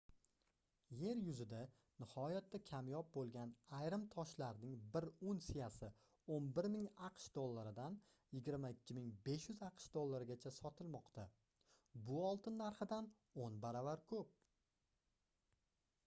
yer yuzida nihoyatda kamyob boʻlgan ayrim toshlarning bir unsiyasi 11 000 aqsh dollaridan 22 500 aqsh dollarigacha sotilmoqda bu oltin narxidan oʻn baravar koʻp